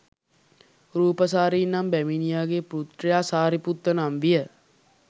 රූපසාරී නම් බැමිනියගේ පුත්‍රයා සාරිපුත්ත නම් විය.